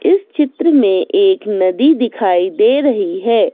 इस चित्र में एक नदी दिखाई दे रही है।